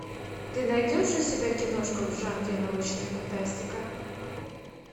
ты найдешь у себя киношку в жанре научная фантастика